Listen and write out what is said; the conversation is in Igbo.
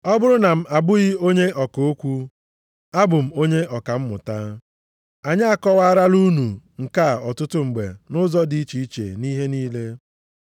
Ọ bụrụ na m abụghị onye ọka okwu, abụ m onye ọka mmụta. Anyị akọwarala unu nke a ọtụtụ mgbe nʼụzọ dị iche iche nʼihe niile.